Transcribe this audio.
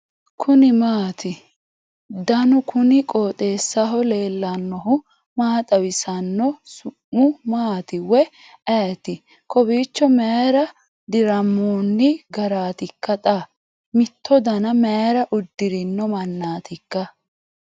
kuni maati ? danu kuni qooxeessaho leellannohu maa xawisanno su'mu maati woy ayeti ? kowiicho mayra dirrammonni garaatikka xa ? miitto dana mayra uddirino mannaatikka